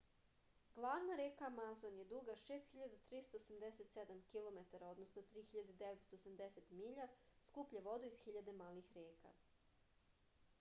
главна река амазон је дуга 6387 km 3980 миља. скупља воду из хиљаде малих река